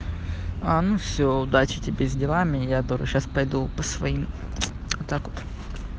а ну всё удачи тебе с делами я тоже сейчас пойду по своим так вот